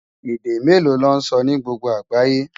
Èdè méló lò nsò ni gbógbó ágáyé?